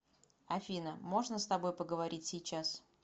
афина можно с тобой поговорить сейчас